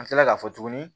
An kila k'a fɔ tuguni